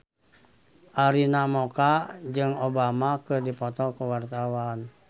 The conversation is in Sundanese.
Arina Mocca jeung Obama keur dipoto ku wartawan